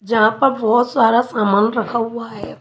जहाँ पर बहुत सारा सामान रखा हुआ है।